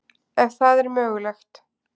Ef það er mögulegt.